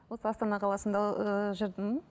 осы астана қаласында ыыы жүрдім